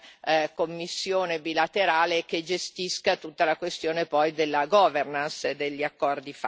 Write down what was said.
commissione bilaterale che gestisca poi tutta la questione della governance e degli accordi fatti.